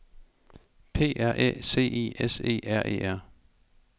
P R Æ C I S E R E R